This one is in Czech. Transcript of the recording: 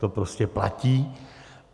To prostě platí.